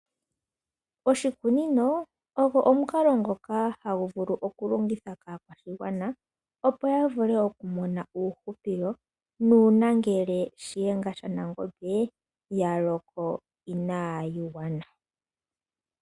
Oshikunino ogo omukalo ngoka hagu vulu okulongithwa kaakwashigwana opo ya vule okumona uuhupilo nuuna ngele Shiyenga shaNangombe ya loko inaayi gwana.